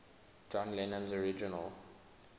john lennon's original